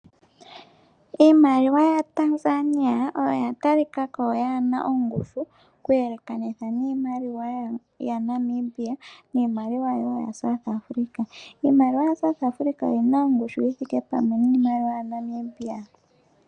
Iimaliwa yaTanzania oyo yatalikako yaana ongushu, okweelekanitha niimaliwa yaNamibia niimaliwa woo yaSouth Africa. Iimaliwa yaSouth Africa oyina ongushu yithike pamwe niimaliwa yaNamibia.